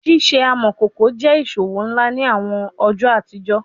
Ṣiṣe amọkoko jẹ iṣowo nla ni awọn ọjọ atijọ